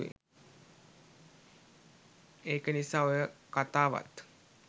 එක නිසා ඔය කතාවත්